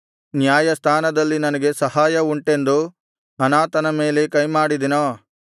ನ್ಯಾಯಸ್ಥಾನದಲ್ಲಿ ನನಗೆ ಸಹಾಯ ಉಂಟೆಂದು ಅನಾಥನ ಮೇಲೆ ಕೈಮಾಡಿದೆನೋ